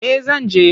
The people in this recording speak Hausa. Eh zan je.